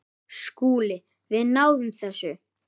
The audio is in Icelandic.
SKÚLI: Við náðum þessu.